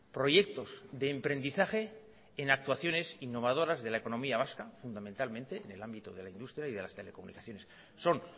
proyectos de emprendizaje en actuaciones innovadores de la economía vasca fundamentalmente en el ámbito de la industria y de las telecomunicaciones son